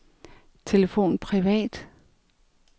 telefon privat